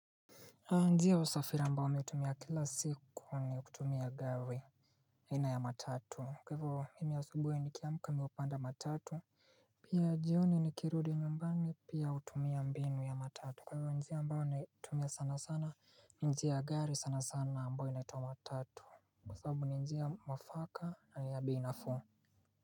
Njia ya usafiri mbayo naitumia kila siku ni kutumia gari aina ya matatu kwa hivyo mimi asubuhi nikiamka napanda matatu Pia jioni nikirudi nyumbani pia hutumia mbinu ya matatu kwa hivyo ni njia ambayo naitumia sana sana njia gari sana sana ambayo inaituwa matatu kwa hivyo njia mwafaka na ni ya bei nafuu.